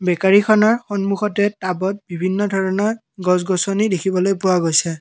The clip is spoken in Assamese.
বেকাৰীখনৰ সন্মুখতে টাবত বিভিন্ন ধৰণৰ গছ গছনি দেখিবলৈ পোৱা গৈছে।